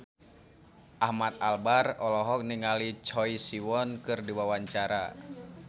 Ahmad Albar olohok ningali Choi Siwon keur diwawancara